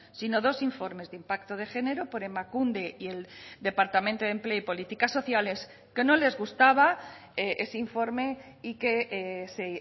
sino dos informes de impacto de género por emakunde y el departamento de empleo y políticas sociales que no les gustaba ese informe y que se